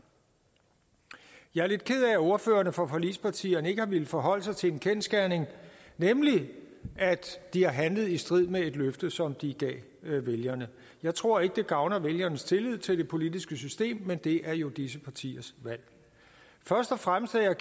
jeg er lidt ked af at ordførerne for forligspartierne ikke har villet forholde sig til en kendsgerning nemlig at de har handlet i strid med et løfte som de gav vælgerne jeg tror ikke at det gavner vælgernes tillid til det politiske system men det er jo disse partiers valg først og fremmest er jeg